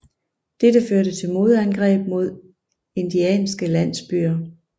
Dette førte til modangreb mod indianske landsbyer